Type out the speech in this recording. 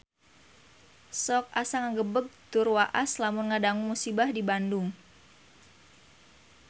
Sok asa ngagebeg tur waas lamun ngadangu musibah di Bandung